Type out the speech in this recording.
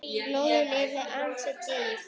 Lóðin yrði því ansi dýr.